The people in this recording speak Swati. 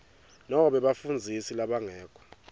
nobe bafundzisi labangekho